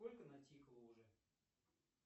сколько натикало уже